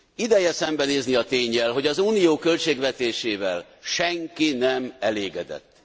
Ideje szembenézni a ténnyel, hogy az Unió költségvetésével senki nem elégedett.